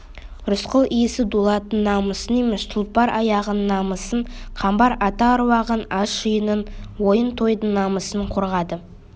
рысқұл исі дулаттың намысын емес тұлпар тұяғының намысын қамбар ата аруағын ас-жиынның ойын-тойдың намысын қорғады